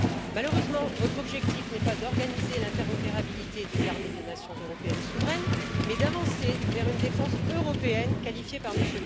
Malheureusement, votre objectif n'est pas d'organiser l'interopérabilité des armées de nations européennes souveraines mais d'avancer vers une défense européenne, qualifiée par M.